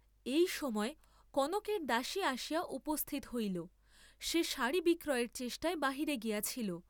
এই সময় কনকের দাসী আসিয়া উপস্থিত হইল, সে সাড়ী বিক্রয়ের চেষ্টায় বাহিরে গিয়াছিল।